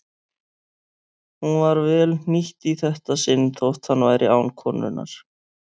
Hún var vel hnýtt í þetta sinn þótt hann væri án konunnar.